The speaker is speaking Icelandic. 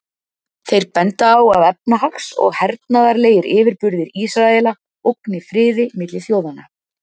Þeir benda á að efnahags- og hernaðarlegir yfirburðir Ísraela ógni friði milli þjóðanna.